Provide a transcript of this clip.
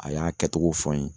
A y'a kɛtogo fɔ n ye.